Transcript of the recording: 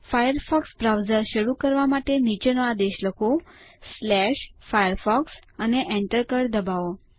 Firefox browser શરૂ કરવા માટે નીચેનો આદેશ લખો firefox અને Enter કળ દબાવો